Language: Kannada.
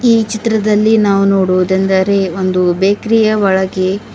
ಈ ಚಿತ್ರದಲ್ಲಿ ನಾವು ನೋಡುವುದೆಂದರೆ ಒಂದು ಬೇಕ್ರಿಯ ಒಳಗೆ--